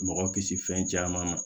Mɔgɔ kisi fɛn caman ma